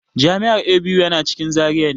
Jami'ar ABU yana cikin Zaria ne.